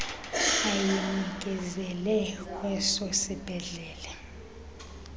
ayinikezele kweso sibhedlele